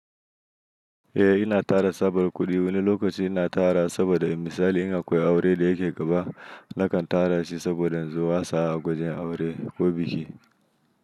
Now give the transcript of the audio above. Eh ina tara saboda kuɗi wani lokaci ina tara saboda misali in akwai aure da yake gaba nakan tarashi saboda inzo inyi wasa ko biki.